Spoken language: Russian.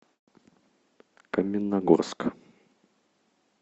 каменногорск